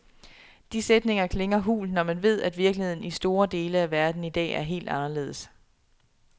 De sætninger klinger hult, når man ved, at virkeligheden i store dele af verden i dag er helt anderledes.